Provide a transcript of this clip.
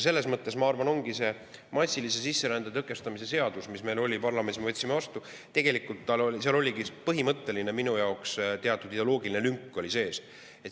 Selles mõttes ongi massilise sisserände tõkestamise seaduses, mis meil on, mille me parlamendis vastu võtsime, tegelikult minu arvates teatud põhimõtteline ideoloogiline lünk sees.